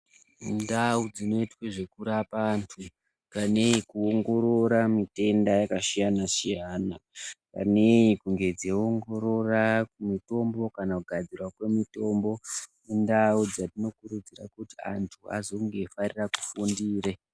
Ndau dzinoitwe zvekurapa antu panei kuongorora mitenda yakasiyana-siyana. Panei kunge dzeiongorora mitombo kana kugadzirwa kwemutombo indau dzatinokurudzira kuti antu azonge eifarire kufundire.